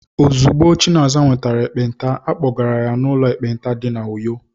Ozugbo Chinaza nwetara ekpenta, a kpọgara ya n'ụlọ ekpenta dị na Uyo.